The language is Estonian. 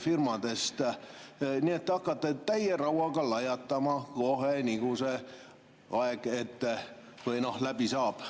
Nii et te hakkate täie rauaga lajatama kohe, kui see aeg läbi saab.